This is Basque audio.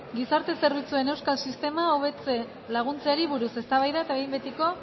gizarte zerbitzuen euskal sistema hobetzen laguntzeari buruz eztabaida eta behin betiko